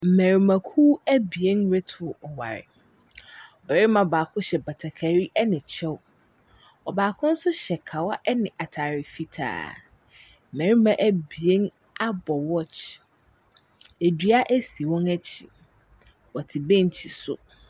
Mmarimakuw ebien reto ɔware, barima baako hyɛ batakari ne kyɛw, ɔbaako hyɛ kawa ne ataare fitaa. Mmarima abien abɔ watch, dua si wɔn akyi, wɔte bench so.